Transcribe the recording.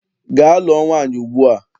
Gaa lụọ nwaanyị ugbua!